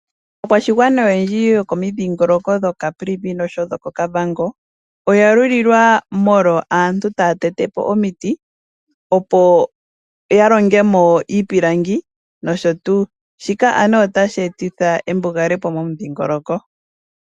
Aakwashigwana oyendji yoko midhiingoloko dho Kaprivi nosho wo dhoko Kavango, oya lulilwa molwa aantu taya tete po omiti, opo ya longemo iipilangi nosho tuu. Shika anuwa otashi etitha embugalepo momudhiingoloko.